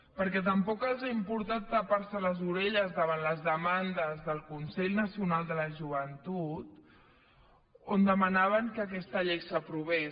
perquè tampoc els ha importat tapar se les orelles davant les demandes del consell nacional de la joventut que demanaven que aquesta llei s’aprovés